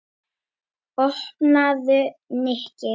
Opnaðu, Nikki.